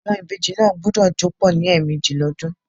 Àwon ìbejì náà gbúdọ̀ jó pọ̀ ní ẹ̀mẹ́jì l'ọ́dún.